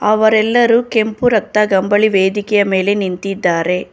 ಅವರೆಲ್ಲರೂ ಕೆಂಪು ರತ್ತ ಕಂಬಳಿ ವೇದಿಕೆಯ ಮೇಲೆ ನಿಂತಿದ್ದಾರೆ.